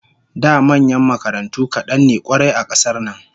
Da manyan makarantu kadan ne kwarai a kasar nan